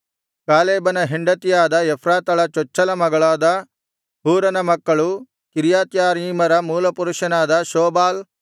ಕಾಲೇಬನ ಹೆಂಡತಿಯಾದ ಎಫ್ರಾತಳ ಚೊಚ್ಚಲ ಮಗನಾದ ಹೂರನ ಮಕ್ಕಳು ಕಿರ್ಯತ್ಯಾರೀಮರ ಮೂಲಪುರುಷನಾದ ಶೋಬಾಲ್